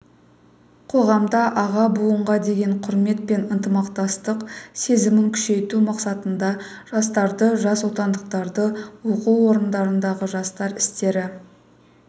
қоғамда аға буынға деген құрмет пен ынтымақтастық сезімін күшейту мақсатында жастарды жасотандықтарды оқу орындарындағы жастар істері